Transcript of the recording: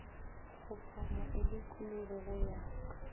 kgopama e dikologe go ya